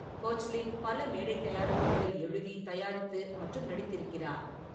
Koechlin பல மேடை தயாரிப்புகளில் எழுதி, தயாரித்து மற்றும் நடித்திருக்கிறார்.